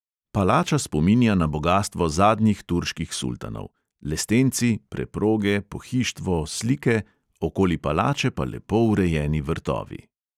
Palača spominja na bogastvo zadnjih turških sultanov; lestenci, preproge, pohištvo, slike, okoli palače pa lepo urejeni vrtovi.